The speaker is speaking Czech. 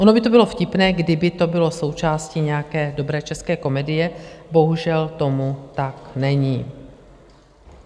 Ono by to bylo vtipné, kdyby to bylo součástí nějaké dobré české komedie, bohužel tomu tak není.